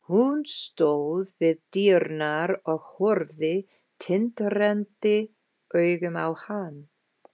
Hún stóð við dyrnar og horfði tindrandi augum á hann.